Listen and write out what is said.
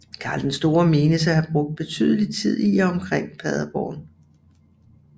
Karl den Store menes at have brugt betydelig tid i og omkring Paderborn